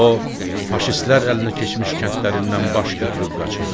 O faşistlər əlinə keçmiş kəndlərindən baş götürüb qaçır.